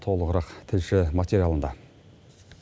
толығырақ тілші материалында